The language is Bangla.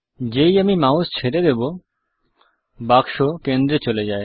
যেই আমি মাউস ছেড়ে দেব বাক্স কেন্দ্রে চলে যায়